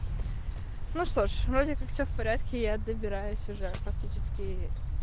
ну что ж вроде как все в порядке я добираюсь уже фактически